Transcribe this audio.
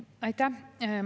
Aitäh!